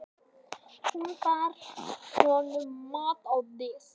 Hún bar honum mat á disk.